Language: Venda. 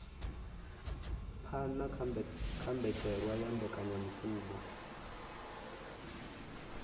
phana kha mbetshelwa ya mbekanyamishumo